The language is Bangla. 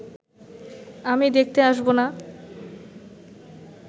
আমি দেখতে আসব না